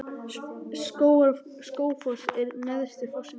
Skógafoss er neðsti fossinn í Skógaá.